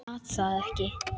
Gat það ekki.